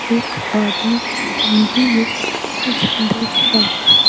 एक आदमी टी-वी में कुछ देख रहा है।